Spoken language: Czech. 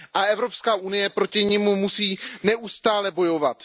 Evropská unie proti nim musí neustále bojovat.